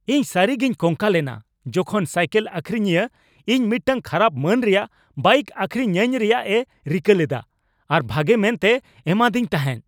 ᱤᱧ ᱥᱟᱹᱨᱤ ᱜᱮᱧ ᱠᱚᱝᱠᱟ ᱞᱮᱱᱟ ᱡᱚᱠᱷᱚᱱ ᱥᱟᱭᱠᱮᱞ ᱟᱠᱷᱨᱤᱧᱤᱭᱟᱹ ᱤᱧ ᱢᱤᱫᱴᱟᱝ ᱠᱷᱟᱨᱟᱯ ᱢᱟᱹᱱ ᱨᱮᱭᱟᱜ ᱵᱟᱭᱤᱠ ᱟᱠᱷᱨᱤᱧᱟᱹᱧ ᱨᱮᱭᱟᱜ ᱮ ᱨᱤᱠᱟᱹ ᱞᱮᱫᱟ ᱟᱨ ᱵᱷᱟᱜᱮ ᱢᱮᱱᱛᱮᱭ ᱮᱢᱟᱫᱮᱧ ᱛᱟᱦᱮᱸᱫ ᱾